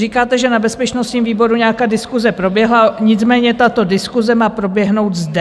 Říkáte, že na bezpečnostním výboru nějaká diskuse proběhla, nicméně tato diskuse má proběhnout zde.